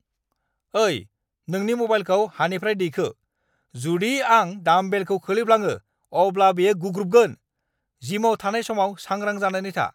ओइ, नोंनि म'बाइलखौ हानिफ्राय दैखो, जुदि आं डामबेलखौ खोलैफ्लाङो अब्ला बेयो गुग्रुबगोन, जिमाव थानाय समाव सांग्रां जानानै था।